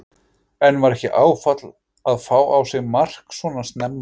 En var ekki áfall að fá á sig mark svo snemma?